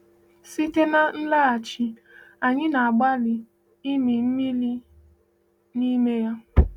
Site n’ịlaghachi, anyị na-agbalị ịmị mmiri n’ime ya.